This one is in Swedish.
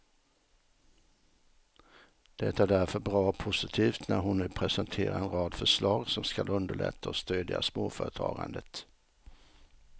Det är därför bra och positivt när hon nu presenterar en rad förslag som skall underlätta och stödja småföretagandet.